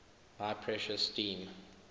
high pressure steam